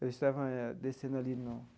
Eu estava descendo ali no.